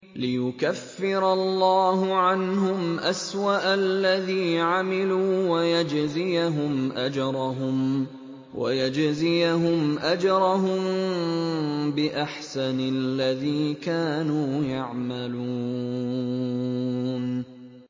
لِيُكَفِّرَ اللَّهُ عَنْهُمْ أَسْوَأَ الَّذِي عَمِلُوا وَيَجْزِيَهُمْ أَجْرَهُم بِأَحْسَنِ الَّذِي كَانُوا يَعْمَلُونَ